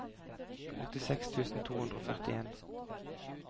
åttiseks tusen to hundre og førtien